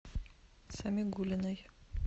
самигуллиной